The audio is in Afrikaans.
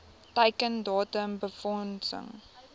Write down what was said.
teiken datum befondsing